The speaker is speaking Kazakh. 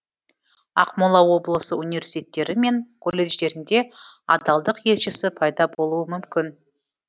ақмола облысы университеттері мен колледждерінде адалдық елшісі пайда болуы мүмкін